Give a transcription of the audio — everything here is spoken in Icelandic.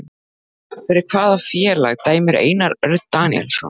Fyrir hvaða félag dæmir Einar Örn Daníelsson?